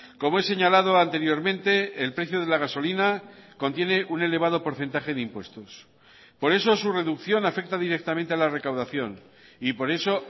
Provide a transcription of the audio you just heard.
como he señalado anteriormente el precio de la gasolina contiene un elevado porcentaje de impuestos por eso su reducción afecta directamente a la recaudación y por eso